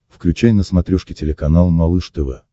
включай на смотрешке телеканал малыш тв